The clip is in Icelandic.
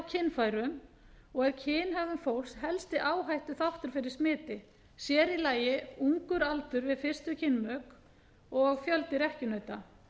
kynfærum og er kynhegðun fólks helsti áhættuþáttur fyrir smiti sér í lagi ungur aldur við fyrstu kynmök og fjöldi rekkjunauta